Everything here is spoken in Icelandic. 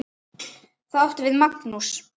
Það átti við Magnús.